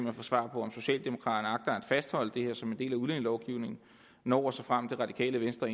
at få svar på om socialdemokraterne agter at fastholde det her som en del af udlændingelovgivningen når og såfremt det radikale venstre